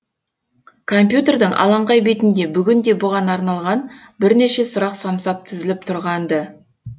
компьютердің алаңқай бетінде бүгін де бұған арналған бірнеше сұрақ самсап тізіліп тұрған ды